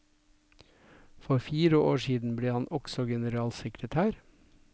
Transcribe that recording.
For fire år siden ble han også generalsekretær.